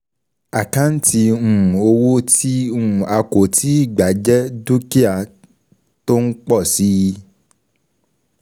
Àkáǹtì um owó um tí um um a kò tíì gbà jẹ dúkìá tó ń pọ̀ síi.